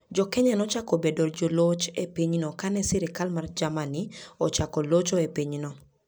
Jo-Kenya nochako bedo joloch e pinyno ka ne sirkal mar Germany ochako locho e pinyno.